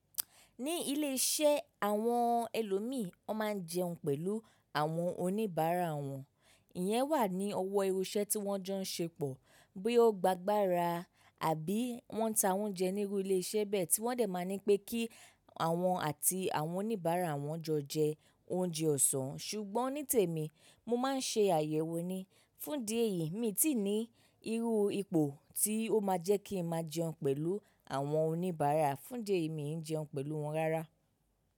Ní iléeṣẹ́ àwọn ẹlòmí, wọ́n máa ń jẹun pẹ̀lú àwọn oníbàárà wọn. Ìyẹn wà ní ọwọ́ irú iṣẹ́ tí wọ́n jọ ń ṣe pọ̀ bí ó gbá agbara, àbí wọ́n ń ta oúnjẹ nírú iléeṣẹ́ bẹ́ẹ̀ tí wọ́n dẹ̀ máa ní pé kí àwọn àti àwọn oníbàárà wọn jọ jẹ oúnjẹ ọ̀sán. Ṣùgbọ́n ní tèmi, mo máa ń ṣe àyẹ̀wò ni. Fún idíẹ̀ yìí, èmi ti ní irú ipò tí ó máa jẹ́ kí ń máa jẹun pẹ̀lú àwọn oníbàárà. Fún idíẹ̀ yìí, mi n jẹun pẹ̀lú wọn rárá.